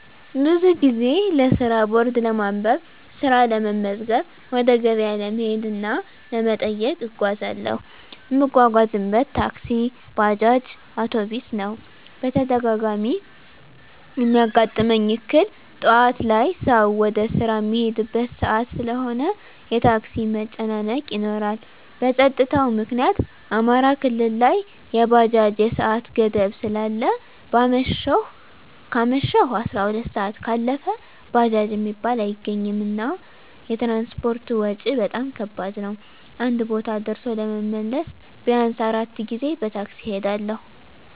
ብዙ ጊዜ ለስራ ቦርድ ለማንበብ፣ ስራ ለመመዝገብ፣ ወደ ገበያ ለመሄድ እና ዘመድ ለመጠየቅ እጓዛለሁ። እምጓጓዝበት ታክሲ፣ ባጃጅ፣ አዉቶቢስ ነዉ። በተደጋጋሚ እሚያጋጥመኝ እክል ጠዋት ላይ ሰዉ ወደ ስራ እሚሄድበት ሰአት ስለሆነ የታክሲ መጨናነቅ ይኖራል። በፀጥታዉ ምክኒያት አማራ ክልል ላይ የባጃጅ የሰአት ገደብ ስላለ ከአመሸሁ 12 ሰአት ካለፈ ባጃጅ እሚባል አይገኝም። እና የትራንስፖርት ወጭ በጣም ከባድ ነዉ አንድ ቦታ ደርሶ ለመመለስ ቢያንስ 4 ጊዜ በታክሲ እሄዳለሁ።